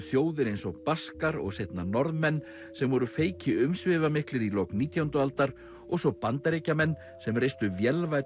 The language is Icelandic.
þjóðir eins og Baskar og seinna Norðmenn sem voru umsvifamiklir í lok nítjándu aldar og svo Bandaríkjamenn sem reistu